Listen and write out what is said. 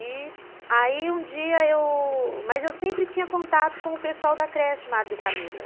E aí um dia eu... Mas eu sempre tinha contato com o pessoal da creche, Madre Camila.